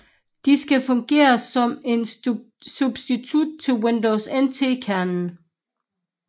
De skal fungere som en substitut til Windows NT kernen